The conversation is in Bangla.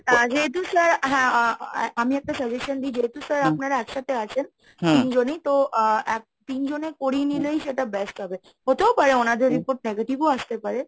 যেহেতু sir আমি হ্যাঁ একটা suggestion দিই যেহেতু sir আপনারা একসাথে আছেন তিনজনই তো অ্যা তিনজনে করিয়ে নিলেই সেটা best হবে, হতেও পারে ওনাদের report positive ও আসতে পারে।